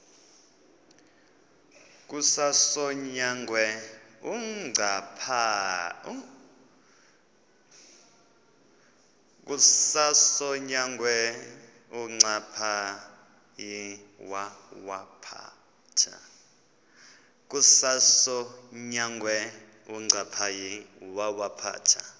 kukasonyangwe uncaphayi wawaphatha